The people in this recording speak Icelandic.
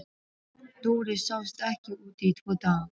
Dóri sást ekki úti í tvo daga.